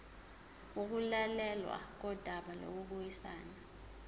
ukulalelwa kodaba lokubuyisana